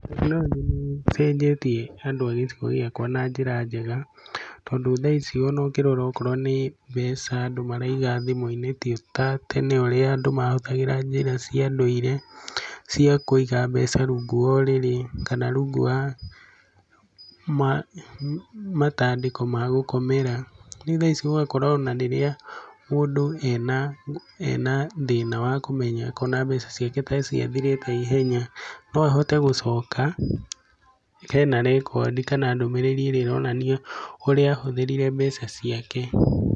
Tekinoronjĩ nĩ iteithĩtie andũ a gĩcigo gĩakwa na njĩra njega tondũ thaa ici ona ũngĩrora okorwo nĩ mbeca andũ maraiga thĩmũ-inĩ ti ta tene ũrĩa andũ mahũthagĩra njĩra cia ndũire cia kũiga mbeca rũngũ wa ũrĩrĩ kana rungu wa matandĩko ma gũkomera ,rĩu thaa ici ũgakora ona rĩrĩa mũndũ ena thĩna wa kũmenya akona mbeca ciake ta ciathira naihenya no ahote gũcoka ,hena rekodi kana ndũmĩrĩri ĩrĩa ĩronania ũrĩa ahũthĩrĩre mbeca ciake.